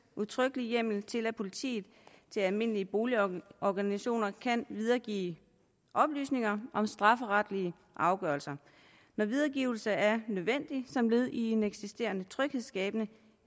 udtrykkelig hjemmel til at politiet til almindelige boligorganisationer kan videregive oplysninger om strafferetlige afgørelser når videregivelse er nødvendigt som led i en eksisterende tryghedsskabende